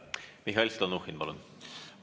Mihhail Stalnuhhin, palun!